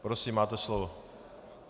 Prosím, máte slovo.